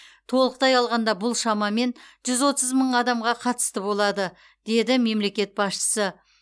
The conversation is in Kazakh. толықтай алғанда бұл шамамен жүз отыз мың адамға қатысты болады деді мемлекет басшысы